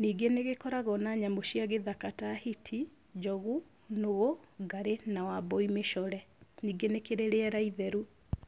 Ningĩ nĩgĩkoragwo na nyamũ cia gĩthaka ta hiti, njogu, nũgũ, ngarĩ na wabũi mĩcore. Ningĩ nĩkĩrĩ rĩera itheru.